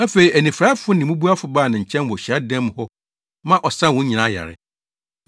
Afei anifuraefo ne mmubuafo baa ne nkyɛn wɔ hyiadan mu hɔ ma ɔsaa wɔn nyinaa yare.